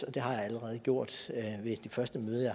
og det har jeg allerede gjort ved det første møde